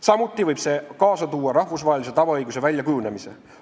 Samuti võib see kaasa tuua rahvusvahelise tavaõiguse väljakujunemise.